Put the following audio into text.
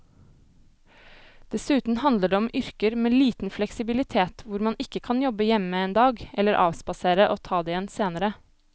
Dessuten handler det om yrker med liten fleksibilitet hvor man ikke kan jobbe hjemme en dag eller avspasere og ta det igjen senere.